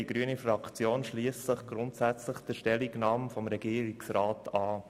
Die grüne Fraktion schliesst sich der Stellungnahme des Regierungsrats grundsätzlich an.